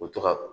U bɛ to ka